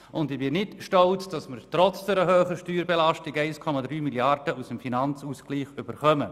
Und ich bin nicht stolz darauf, dass wir trotz dieser hohen Steuerbelastung 1,3 Mrd. Franken aus dem Finanzausgleich erhalten.